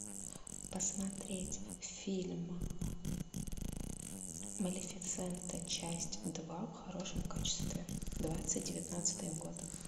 посмотреть фильм малефисента часть два в хорошем качестве двадцать девятнадцатый год